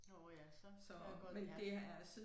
Åh ja så kan jeg godt ja